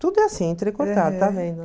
Tudo é assim, entrecortado, está vendo?